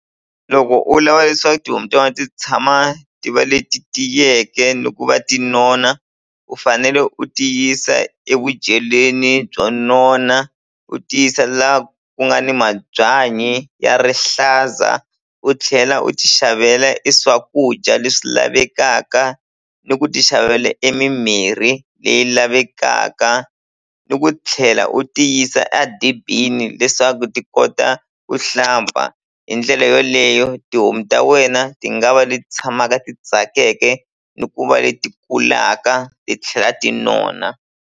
Loko u lava leswaku tihomu ta vona ti tshama ti va leti tiyeke ni ku va ti nona u fanele u ti yisa evudyeleni byo nona u ti yisa la ku nga ni mabyanyi ya rihlaza u tlhela u ti xavela e swakudya leswi lavekaka ni ku ti xavela e mimirhi leyi lavekaka ni ku tlhela u ti yisa a dibini leswaku ti kota ku hlamba hi ndlela yoleyo tihomu ta wena ti nga va leti tshamaka ti tsakeke ni ku va leti kulaka titlhela ti nona.